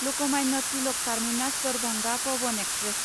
Lokmanya Tilak terminus Darbhanga Pawan express